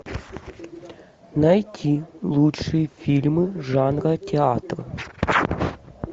найти лучшие фильмы жанра театр